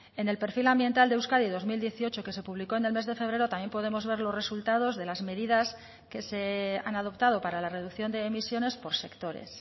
en el perfil ambiental de euskadi dos mil dieciocho que se publicó en el mes de febrero también podemos ver los resultados de las medidas que se han adoptado para la reducción de emisiones por sectores